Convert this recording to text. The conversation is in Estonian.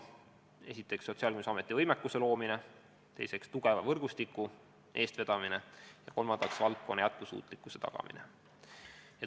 Esiteks, Sotsiaalkindlustusameti võimekuse loomine; teiseks, tugeva võrgustiku eestvedamine; ja kolmandaks, valdkonna jätkusuutlikkuse tagamine.